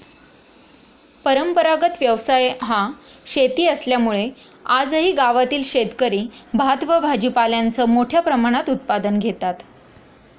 परंपरागत व्यवसाय हा शेती असल्यामूळे आजही गावातील शेतकरी भात व भाजीपाल्याचं मोठ्या प्रमाणात उत्पादन घेतात.